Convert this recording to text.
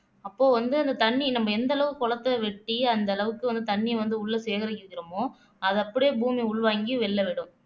அப்போ வந்து அந்த தண்ணி நம்ம எந்த அளவுக்கு குளத்தை வெட்டி அந்த அளவுக்கு வந்து தண்ணியை வந்து உள்ளே சேகரிச்சு வைக்கிறோமோ அத அப்படியே பூமி உள்வாங்கி வெளியிலே விடும்